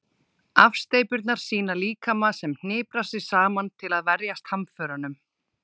Afsteypurnar sýna líkama sem hniprar sig saman til að verjast hamförunum.